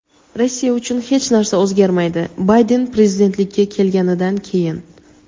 Rossiya uchun hech narsa o‘zgarmaydi (Bayden prezidentlikka kelganidan keyin).